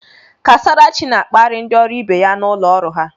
Kasarachi na-akparị ndị ọrụ ibe ya na ụlọ ọrụ ha.